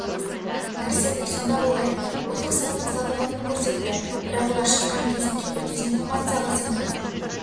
нәрсе сонда болар еді ұлттық сананың салтанатын көрсетті бірақ олар шыққан кезде кейбір дезинформацияға сеніп